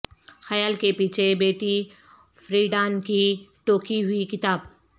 خیال کے پیچھے بیٹی فریڈان کی ٹوکی ہوئی کتاب